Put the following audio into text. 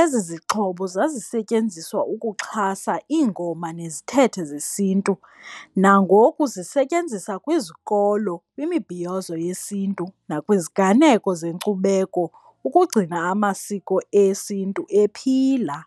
Ezi zixhobo zazisetyenziswa ukuxhasa iingoma nezithethe zesiNtu, nangoku zisetyenziswa kwizikolo, kwimibhiyozo yesiNtu, nakwiziganeko zenkcubeko ukugcina amasiko esiNtu ephila.